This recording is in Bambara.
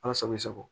Ala sago i sago